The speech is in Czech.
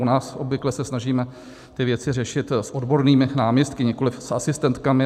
U nás obvykle se snažíme ty věci řešit s odbornými náměstky, nikoliv s asistentkami.